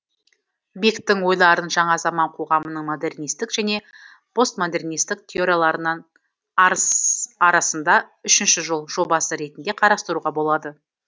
бектің ойларын жаңа заман қоғамының модернистік және постмодернистік теорияларынын арасында үшінші жол жобасы ретінде қарастыруға болады